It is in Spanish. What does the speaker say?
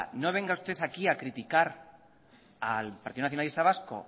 no venga usted aquí a criticar al partido nacionalista vasco